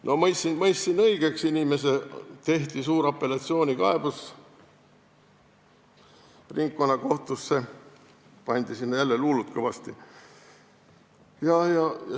No ma mõistsin inimese õigeks, esitati suur apellatsioonkaebus ringkonnakohtusse ja pandi sinna jälle luulut kõvasti.